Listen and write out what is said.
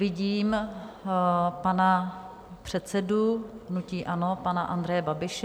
Vidím pana předsedu hnutí ANO pana Andreje Babiše.